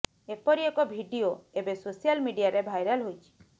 ଏପରି ଏକ ଭିଡିଓ ଏବେ ସୋସିଆଲ୍ ମିଡିଆରେ ଭାଇରାଲ୍ ହୋଇଛି